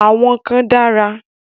Àwọn kan dára.